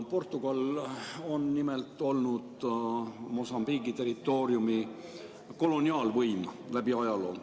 Portugal on nimelt olnud Mosambiigi territooriumi koloniaalvõim läbi ajaloo.